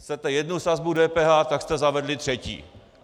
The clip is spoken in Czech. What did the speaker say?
Chcete jednu sazbu DPH, tak jste zavedli třetí.